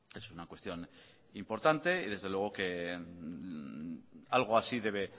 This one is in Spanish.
es una cuestión importante y desde luego que algo de así